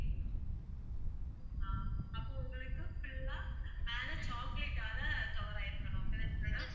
ஆஹ் அப்போ உங்களுக்கு full ஆ மேல chocolate ஆல cover ஆகி இருக்கணும் அப்படித்தானே madam